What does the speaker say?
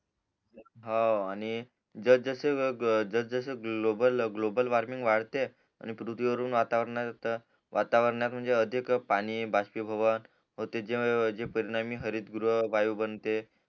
हाव आणि जस जस जसं ग्लोबल वॉर्मिंग वाढते आणि पृथ्वीवरून वातावरणात वातवरणात म्हणजे अधिक पाणी बाष्पी भवन जे परिणामी हरित वायू बनते